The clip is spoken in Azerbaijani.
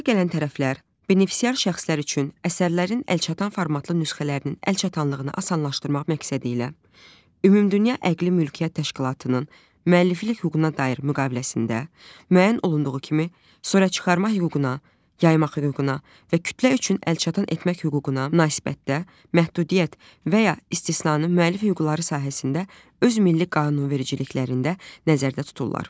Razılığa gələn tərəflər benefisiar şəxslər üçün əsərlərin əlçatan formatlı nüsxələrinin əlçatanlığını asanlaşdırmaq məqsədilə ümumdünya əqli mülkiyyət təşkilatının, müəlliflik hüququna dair müqaviləsində, müəyyən olunduğu kimi, surətçıxarma hüququna, yaymaq hüququna və kütlə üçün əlçatan etmək hüququna münasibətdə məhdudiyyət və ya istisnanı müəllif hüquqları sahəsində öz milli qanunvericiliklərində nəzərdə tuturlar.